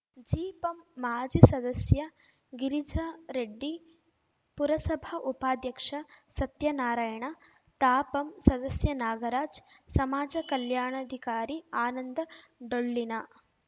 ಜಿಪಂ ಮಾಜಿ ಸದಸ್ಯ ಗಿರಿಜಾರೆಡ್ಡಿ ಪುರಸಭಾ ಉಪಾಧ್ಯಕ್ಷ ಸತ್ಯನಾರಾಯಣ ತಾಪಂ ಸದಸ್ಯ ನಾಗರಾಜ್ ಸಮಾಜ ಕಲ್ಯಾಣಾಧಿಕಾರಿ ಆನಂದಡೊಳ್ಳಿನ